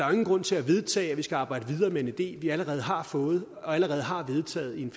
jo ingen grund til at vedtage at vi skal arbejde videre med en idé vi allerede har fået og allerede har vedtaget i en